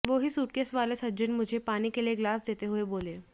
वो ही सूटकेस वाले सज्जन मुझे पानी का ग्लास देते हुए बोले